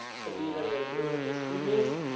gedurende droogtes toeneem